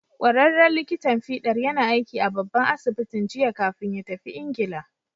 Ƙwararren likitan fiɗar yana aiki a babban asibitin jiya kafin ya tafi Ingila.